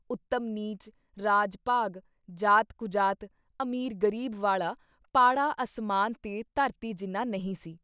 ਉਤਮ-ਨੀਚ, ਰਾਜ-ਭਾਗ, ਜ਼ਾਤ-ਕੁਜ਼ਾਤ, ਅਮੀਰ-ਗਰੀਬ ਵਾਲਾ ਪਾੜਾ ਅਸਮਾਨ ਤੇ ਧਰਤੀ ਜਿੰਨਾ ਨਹੀਂ ਸੀ।